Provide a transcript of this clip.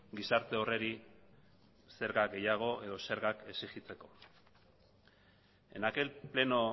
gizarte horri zerga gehiago edo zergak exigitzeko en aquel pleno